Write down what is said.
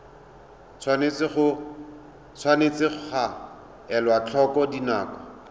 tshwanetse ga elwa tlhoko dinako